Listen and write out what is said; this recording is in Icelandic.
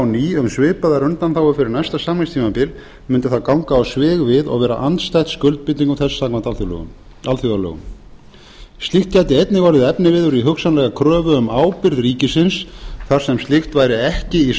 um svipaðar undanþágur fyrir næsta samningstímabil myndi það ganga á svig við og vera andstætt skuldbindingum þess samkvæmt alþjóðalögum slíkt gæti einnig orðið efniviður í hugsanlega kröfu um ábyrgð ríkisins þar sem slíkt væri ekki í